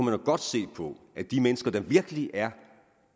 jo godt se på at de mennesker der virkelig er